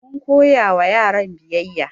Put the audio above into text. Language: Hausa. Mun koya wa yaran biyayya